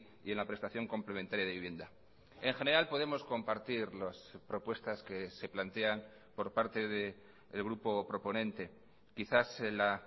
y en la prestación complementaria de vivienda en general podemos compartir las propuestas que se plantean por parte del grupo proponente quizás la